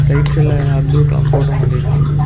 Right சைடுல Abdul Kalam photo மாட்டிருக்காங்க.